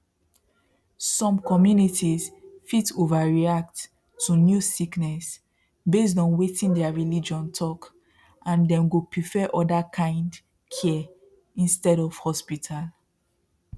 some communities fit overreact to new sickness based on wetin their religion talk and dem go prefer other kind care instead of hospital